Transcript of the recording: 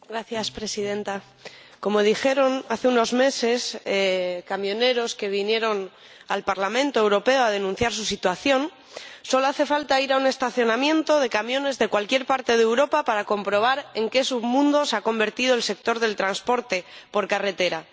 Señora Presidenta, como dijeron hace unos meses los camioneros que vinieron al Parlamento Europeo a denunciar su situación, solo hace falta ir a un estacionamiento de camiones de cualquier parte de Europa para comprobar en qué submundo se ha convertido el sector del transporte por carretera.